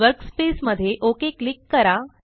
workspace मध्ये okay click करा